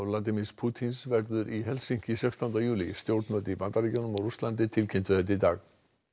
Pútín verður í Helsinki sextánda júlí stjórnvöld í Bandaríkjunum og Rússlandi tilkynntu þetta í dag